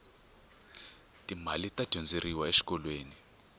ti mali ta dyondzeriwa exikolweni